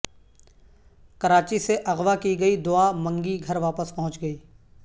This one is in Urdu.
کراچی سے اغوا کی گئی دعا منگی گھرواپس پہنچ گئی